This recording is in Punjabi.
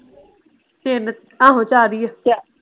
ਤਿੰਨ ਆਹੋ ਚਾਰ ਹੀ ਆ।